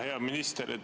Hea minister!